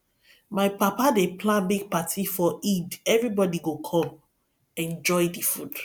my papa dey plan big party for eid everybody go come enjoy the food